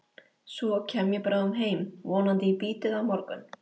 Svo kem ég bráðum heim, vonandi í bítið á morgun.